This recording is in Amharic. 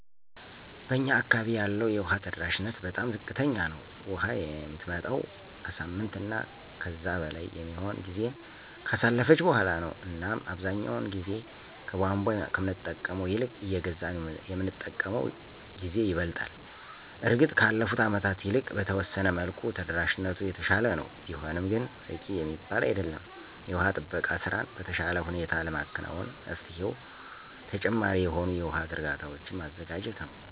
በእኛ አካባቢ ያለው የውሃ ተደራሽነት በጣም ዝቅተኛ ነው። ውሃ የምትመጣውም ከሳምንት እና ከዛ በላይ የሚሆን ጊዜን ካሳለፈች በኋላ ነው እናም አብዛኛውን ጊዜ ከቧንቧ ከምንጠቀመው ይልቅ እየገዛን የምንጠቀምበት ጊዜ ይበልጣል። እርግጥ ከአለፉት አመታት ይልቅ በተወሰነ መልኩ ተደራሽነቱ የተሻለ ነው፤ ቢሆንም ግን በቂ የሚባል አይደለም። የውሃ ጥበቃ ስራን በተሻለ ሁኔታ ለማከናወን መፍትሄው ተጨማሪ የሆኑ የውሃ ዝርጋታዎችን ማዘጋጀት ነው።